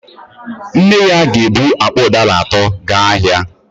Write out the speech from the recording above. Nne ya ga-ebu akpa ụdara atọ gaa ahịa